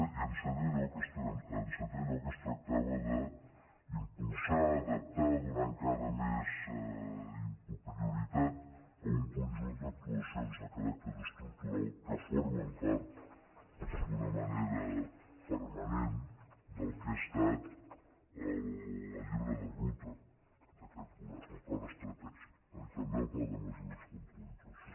i en setè lloc es tractava d’impulsar adaptar donar encara més prioritat a un conjunt d’ac·tuacions de caràcter estructural que formen part d’una manera permanent del que ha estat el llibre de ruta d’aquest govern l’acord estratègic no i també el pla de mesures contra la inflació